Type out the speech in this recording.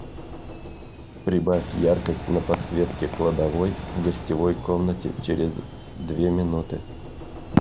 прибавь яркость на подсветке кладовой в гостевой комнате через две минуты